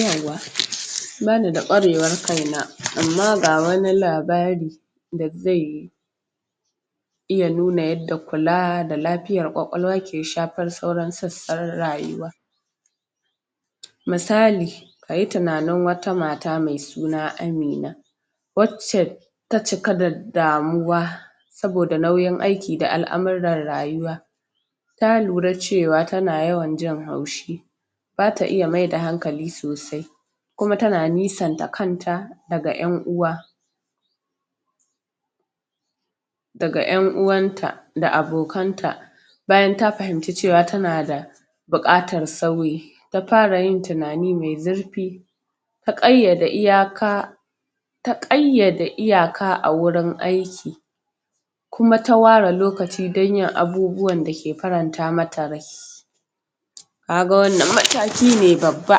yauwa bani da ƙwarewar kaina amma ga wani labari da zai yu iya nuna yadda kula da laf fiyar ƙwaƙwalwa bfar sauran sassan rayuwa misali kayi tunanin wata mata mai suna Amina wac ce ta cika da damuwa saboda nauyin aiki da al'amuran rayuwa ta lura cewa tana yawan jin haushi bata iya mai da hankali sosai kuma tama nisanta kanta daga ƴan'uwa daga ƴan'uwan ta da abokan ta bayan ta fahimci cewa tana da bukatar sauyi ta fara yin tunani mai zur fi ta ƙayyada iyaka ta ƙayyade iya a wurin aiki kuma ta ware lokaci dan yin abubuwan dake faranta mata rai kaga wannan mataki ne babba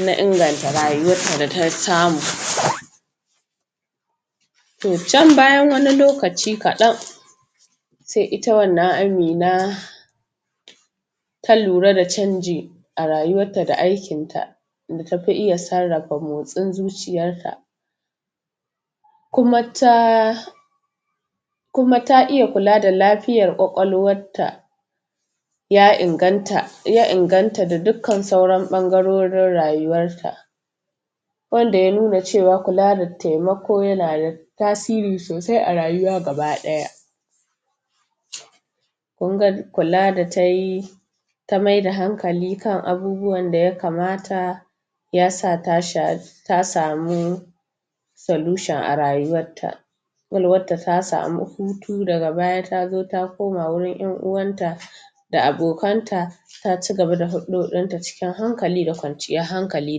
na inganta rayuwarta da tasamu to can bayan wani lokaci kaɗan sai ita wannan Amina ta lura da canji arayuwarta da aikin ta ta tafi iya sarra fa motsin zuciyar ta kuma taa kuma ta iya kula ba laf fiiyar ƙwaƙwalwarta ya inganta ya inganta da duk kan sauran ɓangarorin rayuwar su wanda ya nuna c3wa kula da taima ko yana da tasiri sosai a rayuwa gaba ɗaya kula da tayi ta mai da hankali kan abubuwan daya kamata yasa ta sa ta samu solution a rayuwar ta ƙwaƙwalwarta ta samu hu tu daga baya ta zo ta koma wurin ƴan'uwan ta abokan ta ta cigaba da hudodinta cikin hankali da kwanciyar hankali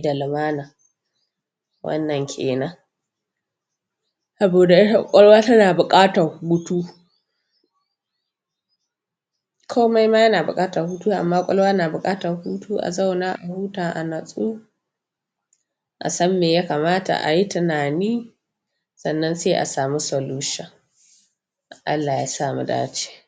da lumana qannan kenan saboda ita ƙwaƙwalwa tana da buƙatan hutu komai ma na buƙatan hu to amma ƙwaƙwalwa na buƙatan hu ko a zauna a huta a natsu a san me yakamata ayi tunani sannan sai a samu solution ALLAH yasa nuda ALLAH YA SA MU DACE ce